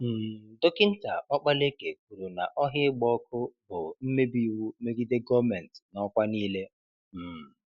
um Dọkinta Okpalaeke kwuru na ọhịa ịgba ọkụ bụ mmebi iwụ megide gọọmentị n'ọkwa niile. um